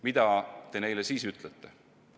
Mida te neile siis ütlete?